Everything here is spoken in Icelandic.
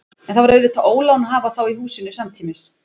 En það var auðvitað ólán að hafa þá í húsinu samtímis.